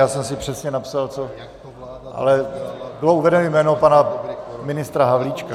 Já jsem si přesně napsal co, ale bylo uvedeno jméno pana ministra Havlíčka.